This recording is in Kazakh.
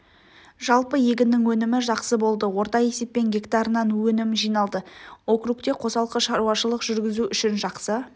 жалпы егіннің өнімі жақсы болды орта есеппен гектарынан өнім жиналды округте қосалқы шаруашылық жүргізу үшін жақсы